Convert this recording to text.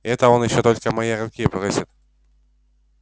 и это он ещё только моей руки просит